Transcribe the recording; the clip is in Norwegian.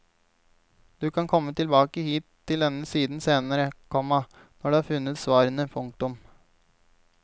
Du kan komme tilbake hit til denne siden senere, komma når du har funnet svarene. punktum